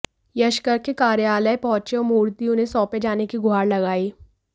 यश गर्ग के कार्यालय पहुंचे और मूर्ति उन्हें सौंपे जाने की गुहार लगाई